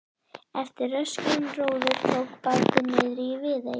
Eftir röskan róður tók bátinn niðri í Viðey.